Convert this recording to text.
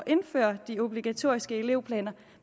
indføre de obligatoriske elevplaner